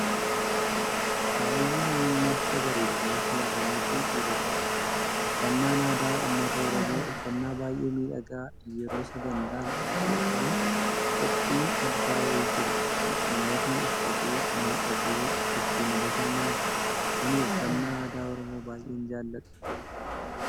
Faayi madda bareedina shamaarranii fi dhiirotaati. Uffannaan aadaa uummata Oromoo uffannaa baayyee miidhagaa yeroo sagantaan yookaan qophiin addaa wayii jiru kan uummatni uffatee, miidhagee ittiin bashannanudha. Ani uffannaa aadaa Oromoo baayyeen jaalladha.